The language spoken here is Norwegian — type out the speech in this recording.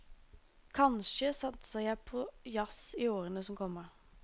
Kanskje satser jeg på jazz i årene som kommer.